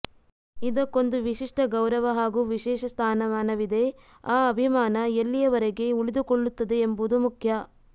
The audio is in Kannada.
ಇದಕ್ಕೊಂದು ವಿಶಿಷ್ಟ ಗೌರವ ಹಾಗೂ ವಿಶೇಷ ಸ್ಥಾನ ಮಾನವಿದೆ ಆ ಅಭಿಮಾನ ಎಲ್ಲಿಯವರೆಗೆ ಉಳಿದುಕೊಳ್ಳುತ್ತದೆ ಎಂಬುದು ಮುಖ್ಯ